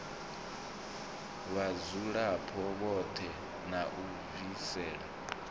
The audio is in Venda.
vhadzulapo vhoṱhe na u bvisela